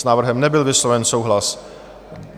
S návrhem nebyl vysloven souhlas.